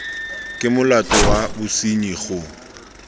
ke molato wa bosenyi go